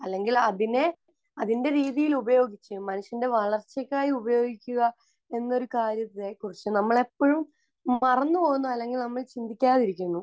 അല്ലെങ്കിൽ അതിനെ അതിന്റെ രീതിയിൽ ഉപയോഗിച്ച് മനുഷ്യന്റെ വളർച്ചയ്ക്കായി ഉപയോഗിക്കുക എന്നൊരു കാര്യത്തെക്കുറിച്ച് നമ്മൾ എപ്പോഴും മറന്ന് പോകുന്നു അല്ലെങ്കിൽ നമ്മൾ ചിന്തിക്കാതെയിരിക്കുന്നു.